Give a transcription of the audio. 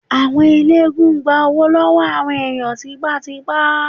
Àwọn ẹlẹ́gùn-ún gbá owó lọ́wọ́ àwọn ènìyàn tipátipá.